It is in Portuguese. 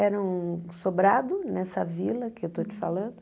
Era um sobrado nessa vila que eu estou te falando.